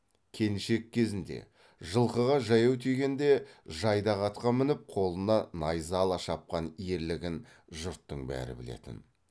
келіншек кезінде жылқыға жаяу тигенде жайдақ атқа мініп қолына найза ала шапқан ерлігін жұрттың бәрі білетін